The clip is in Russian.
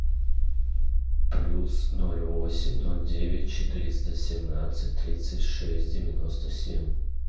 плюс ноль восемь ноль девять четыреста семнадцать тридцать шесть девяносто семь